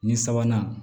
Ni sabanan